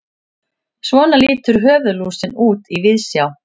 svona lítur höfuðlúsin út í víðsjá